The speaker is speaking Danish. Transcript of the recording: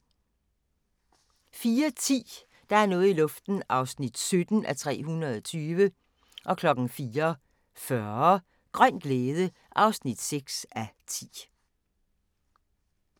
04:10: Der er noget i luften (17:320) 04:40: Grøn glæde (6:10)